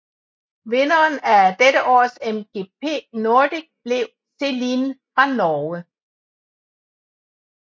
Vinderen af dette års MGP Nordic blev Celine fra Norge